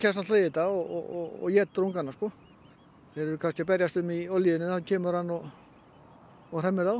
náttúrulega í þetta og étur ungana þeir eru kannski að berjast um í olíunni og þá kemur hann og og hremmir þá